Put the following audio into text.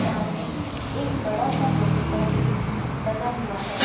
सामने एक बड़ा सा लोहे का गेट लगा हुआ है।